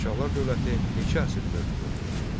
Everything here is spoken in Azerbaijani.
Şirvanşahlar dövləti neçə əsr mövcud olmuşdur?